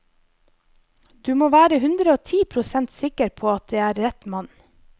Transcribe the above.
Du må være hundreogti prosent sikker på at det er rett mann.